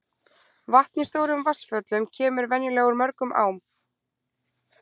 vatn í stórum vatnsföllum kemur venjulega úr mörgum ám